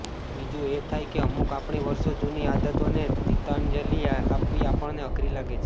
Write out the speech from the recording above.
બીજું એ થાય કે અમુક આપણી વર્ષો જૂની આદતોને તિલાંજલિ આપવી આપણને અઘરી લાગે છે